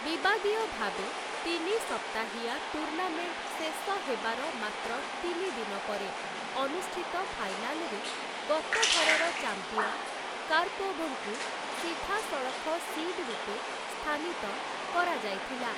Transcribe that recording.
ବିବାଦୀୟ ଭାବେ, ତିନି ସପ୍ତାହିଆ ଟୁର୍ଣ୍ଣାମେଣ୍ଟ୍‌ ଶେଷ ହେବାର ମାତ୍ର ତିନି ଦିନ ପରେ, ଅନୁଷ୍ଠିତ ଫାଇନାଲରେ ଗତଥରର ଚାମ୍ପିଅନ୍ କାର୍ପୋଭଙ୍କୁ ସିଧାସଳଖ ସିଡ୍‌ ରୂପେ ସ୍ଥାନିତ କରାଯାଇଥିଲା ।